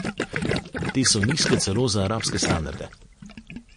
Te so nizke celo za arabske standarde.